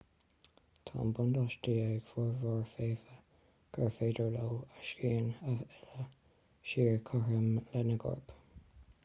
tá an buntáiste ag formhór feithidí gur féidir leo a sciatháin a fhilleadh siar cothrom lena gcoirp